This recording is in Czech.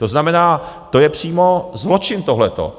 To znamená, to je přímo zločin, tohleto.